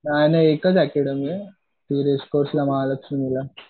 नाही नाही एकच अकॅडमी आहे. महालक्ष्मीला